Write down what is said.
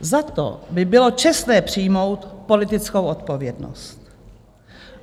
Za to by bylo čestné přijmout politickou odpovědnost.